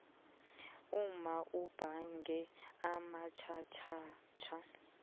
umma ubhage amatjhatjhatjha